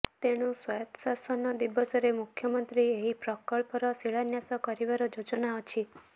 ତେଣୁ ସ୍ବାୟତ୍ତ ଶାସନ ଦିବସରେ ମୁଖ୍ୟମନ୍ତ୍ରୀ ଏହି ପ୍ରକଳ୍ପର ଶିଳାନ୍ୟାସ କରିବାର ଯୋଜନା ଅଛି